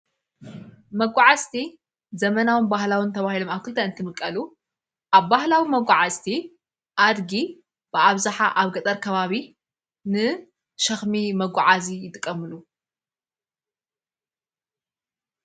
መጕዓስቲ ዘመናዊ ባህላውን ተብሂሎ ማኣክልተ እንትምቀሉ ኣብ ባህላዊ መጕዓስቲ ኣድጊ ብዓብዛኃ ኣብ ገጠር ከባቢ ን ሽኽሚ መጕዓ እዙ ይትቀምሉ።